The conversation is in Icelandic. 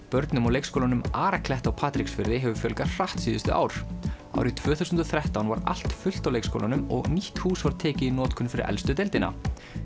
börnum á leikskólanum á Patreksfirði hefur fjölgað hratt síðustu ár árið tvö þúsund og þrettán var allt fullt á leikskólanum og nýtt hús var tekið í notkun fyrir elstu deildina